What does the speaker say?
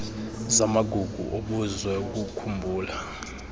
zamagugu obuzwe ukukhumbula